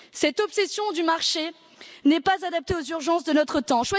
Cette obsession du marché n'est pas adaptée aux urgences de notre temps.